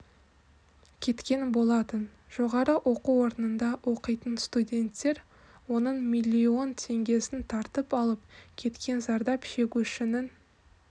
кеткен болатын жоғары оқу орнында оқитын студенттер оның миллион теңгесін тартып алып кеткен зардап шегушінің